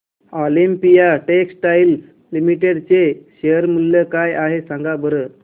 Olympia textiles limited चे share मूल्य काय आहे सांगा बरं